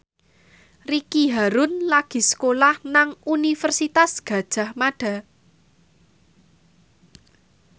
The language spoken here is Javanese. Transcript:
Ricky Harun lagi sekolah nang Universitas Gadjah Mada